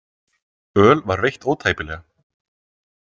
Öl var veitt ótæpilega.